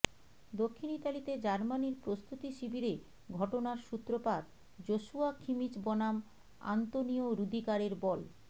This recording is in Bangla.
দক্ষিণ ইতালিতে জার্মানির প্রস্তুতি শিবিরে ঘটনার সূত্রপাত জোসুয়া খিমিচ বনাম আন্তোনিও রুদিগারের বল